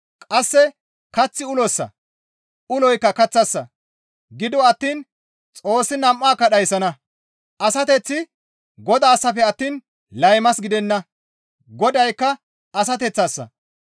Qasse Kaththi ulossa; uloykka kaththassa; gido attiin Xoossi nam7aakka dhayssana; asateththi Godaassafe attiin laymas gidenna; Godaykka asateththassa.